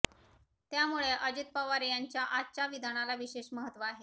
त्यामुळे अजित पवार यांच्या आजच्या विधानाला विशेष महत्त्व आहे